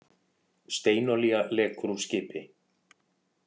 Steinolía lekur úr skipi